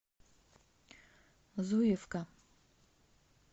зуевка